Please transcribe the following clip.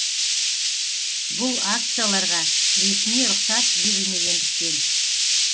бұл акцияларға ресми рұқсат берілмегендіктен